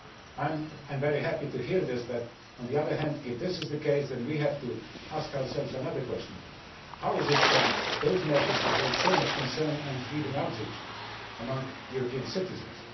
I am very happy to hear this, but on the other hand, if this is the case, then we have to ask ourselves another question how is it that those measures have raised so much concern and even outrage among European citizens?